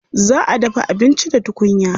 Za a dafa abinci da tukunya.